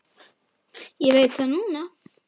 Ég veit það núna.